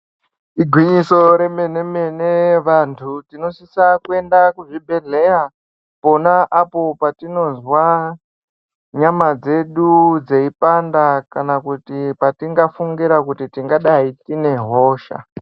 Igwinyiso remene mene vantu tinosisa kuenda kuzvibhedhleya pona apo patinozwa nyama dzedu dzeipanda kana kuti patingafungira kuti tingadai tine hosha.